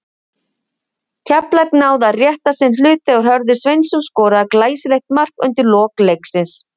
Keflavík náði að rétta sinn hlut þegar Hörður Sveinsson skoraði glæsilegt mark undir lok leiksins.